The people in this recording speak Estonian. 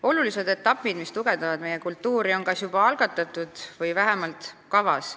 Olulised ettevõtmised, mis tugevdavad meie kultuuri, on kas juba algatatud või vähemalt kavas.